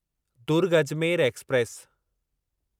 Durg Ajmer express